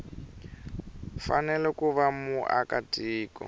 fanele ku va muaka tiko